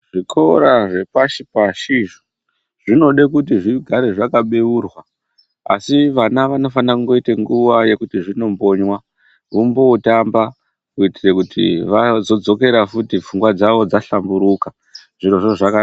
Zvikora zvepashi pashi zvinode kuti zvigare zvakabeurwa asi vana vanofanire kuite nguwa yekuti zvimbokonywa veimbotamba kuite kuti vazodzokera futi pfungwa dzawo dzahlamburuka.